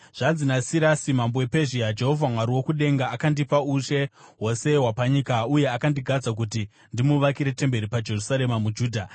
Zvanzi naSirasi mambo wePezhia: Jehovha, Mwari wokudenga akandipa ushe hwose hwapanyika uye akandigadza kuti ndimuvakire temberi paJerusarema muJudha.